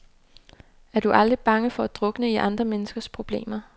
Er du aldrig bange for at drukne i andre menneskers problemer?